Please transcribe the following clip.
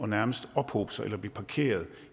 nærmest at ophobe sig eller blive parkeret